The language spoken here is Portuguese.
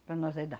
Para nós aí dá